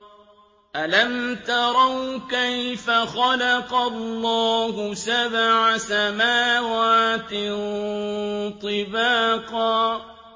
أَلَمْ تَرَوْا كَيْفَ خَلَقَ اللَّهُ سَبْعَ سَمَاوَاتٍ طِبَاقًا